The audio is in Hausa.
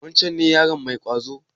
Wancen ne yaron mai ƙwazo?